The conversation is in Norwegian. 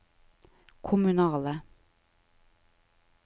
kommunale